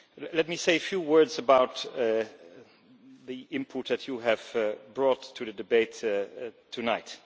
Let me say a few words about the input that you have brought to the debate tonight.